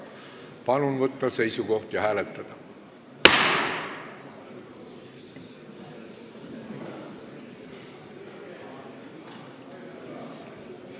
Palun võtta seisukoht ja hääletada!